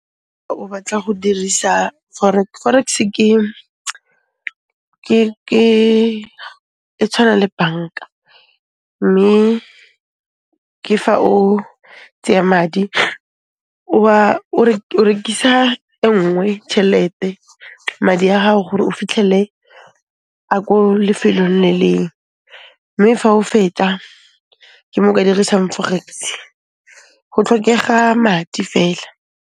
O batla go dirisa forex. Forex-e e tshwana le bank-a mme ke fa o tseya madi o rekisa enngwe tšhelete, madi a hao gore o fitlhelle a ko lefelong le leng, mme fa o fetsa ke mo o ka dirisang forex, go tlhokega madi fela.